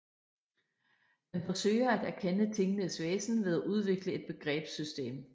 Den forsøger at erkende tingenes væsen ved at udvikle et begrebssystem